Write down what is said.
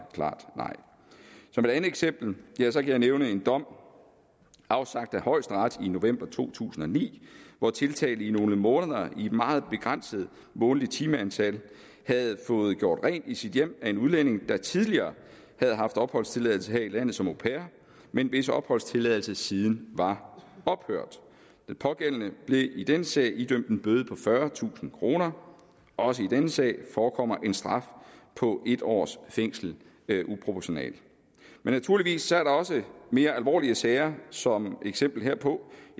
klart nej som et andet eksempel kan jeg nævne en dom afsagt af højesteret i november to tusind og ni hvor tiltalte i nogle måneder i et meget begrænset månedligt timeantal havde fået gjort rent i sit hjem af en udlænding der tidligere havde haft opholdstilladelse her i landet som au pair men hvis opholdstilladelse siden var ophørt den pågældende blev i denne sag idømt en bøde på fyrretusind kroner også i denne sag forekommer en straf på en års fængsel uproportionalt men naturligvis er der også mere alvorlige sager som eksempel herpå